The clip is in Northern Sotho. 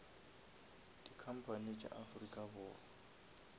di company tša afrika borwa